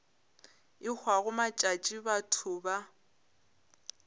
e hwago matšatši batho ba